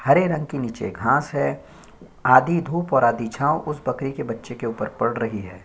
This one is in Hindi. हरे रंग के नीचे घांस है आधी धूप और आधी छांव उस बकरी के बच्चे के उप्पर पड़ रही है।